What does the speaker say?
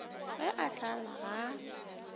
ge a hlala ga a